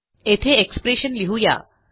येथे एक्सप्रेशन लिहू या